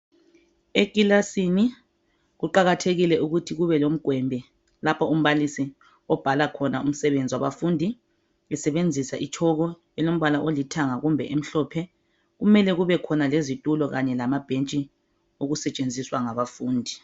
Ekilasini kuqakathekile ukuthi kubelomgwembe, lapha umbalisi obhala khona umsebenzi wabafundi esebenzisa itshoko elombala olithanga kumbe emhlophe. Kumele kubekhona lezitulo kanye lamabhentshi okusetshenziswa ngabafundi.